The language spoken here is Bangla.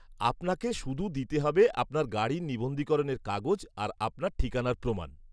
-আপনাকে শুধু দিতে হবে আপনার গাড়ির নিবন্ধীকরণের কাগজ আর আপনার ঠিকানার প্রমাণ।